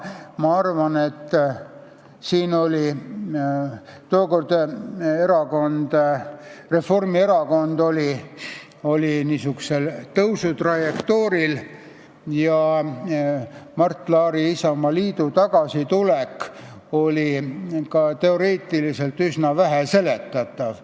Ma arvan, et tookord oli Reformierakond tõusutrajektooril ja Mart Laari Isamaaliidu tagasitulek oli ka teoreetiliselt üsna halvasti seletatav.